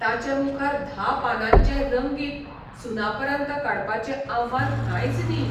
ताचे मुखार धा पानांचें रंगीत 'सुनापरान्त 'काडपाचें आव्हान कांयच नही.